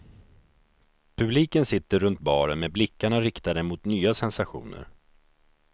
Publiken sitter runt baren med blickarna riktade mot nya sensationer.